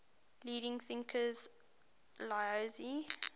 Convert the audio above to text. leading thinkers laozi